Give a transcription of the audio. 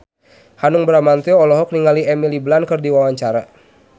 Hanung Bramantyo olohok ningali Emily Blunt keur diwawancara